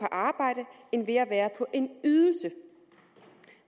arbejde end ved at være på en ydelse